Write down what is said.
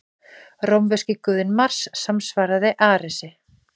Rómverski guðinn Mars samsvaraði Aresi.